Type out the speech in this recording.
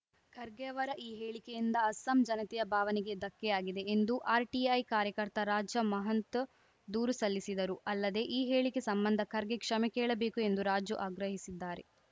ಖರ್ಗೆ ಅವರ ಈ ಹೇಳಿಕೆಯಿಂದ ಅಸ್ಸಾಂ ಜನತೆಯ ಭಾವನೆಗೆ ಧಕ್ಕೆಯಾಗಿದೆ ಎಂದು ಆರ್‌ಟಿಐ ಕಾರ್ಯಕರ್ತ ರಾಜ ಮಹಂತು ದೂರು ಸಲ್ಲಿಸಿದ್ದರು ಅಲ್ಲದೆ ಈ ಹೇಳಿಕೆ ಸಂಬಂಧ ಖರ್ಗೆ ಕ್ಷಮೆ ಕೇಳಬೇಕು ಎಂದು ರಾಜು ಆಗ್ರಹಿಸಿದ್ದಾರೆ